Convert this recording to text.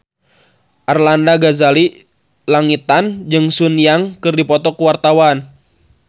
Arlanda Ghazali Langitan jeung Sun Yang keur dipoto ku wartawan